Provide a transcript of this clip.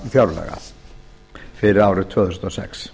lokafjárlaga fyrir árið tvö þúsund og sex